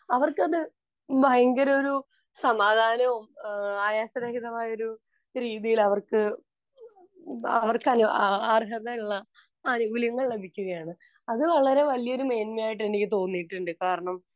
അവര്‍ക്കത് ഭയങ്കര ഒരു സമാധാനവും, ആയാസരഹിതമായ ഒരു രീതിയില്‍ അവര്‍ക്ക് അവര്‍ക്ക് അര്‍ഹതയുള്ള ആനുകൂല്യങ്ങള്‍ ലഭിക്കുകയാണ്. അത് വളരെ വലിയ ഒരു മേന്മയായിട്ടു എനിക്ക് തോന്നിയിട്ടുണ്ട്. കാരണം,